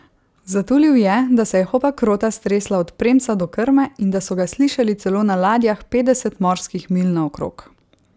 Zatulil je, da se je Hopakrota stresla od premca do krme in da so ga slišali celo na ladjah petdeset morskih milj naokrog.